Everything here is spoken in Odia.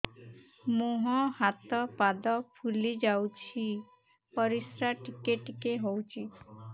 ମୁହଁ ହାତ ପାଦ ଫୁଲି ଯାଉଛି ପରିସ୍ରା ଟିକେ ଟିକେ ହଉଛି